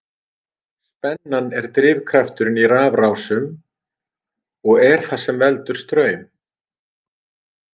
Spennan er drifkrafturinn í rafrásum og er það sem veldur straum.